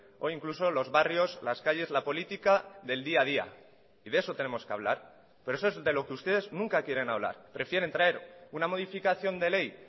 o incluso los barrios las calles la política del día a día y de eso tenemos que hablar pero eso es de lo que ustedes nunca quieren hablar prefieren traer una modificación de ley